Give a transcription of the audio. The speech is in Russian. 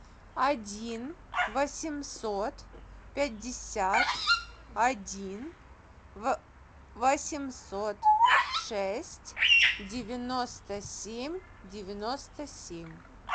один восемьсот пятьдесят один восемьсот шесть девяносто семь девяносто семь